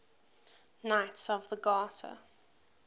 knights of the garter